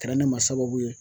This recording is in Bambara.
Kɛra ne ma sababu ye.